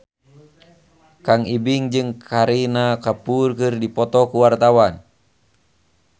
Kang Ibing jeung Kareena Kapoor keur dipoto ku wartawan